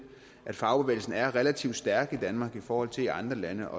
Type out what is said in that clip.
at fagbevægelsen er relativt stærk i danmark i forhold til i andre lande